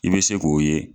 I bɛ se k'o ye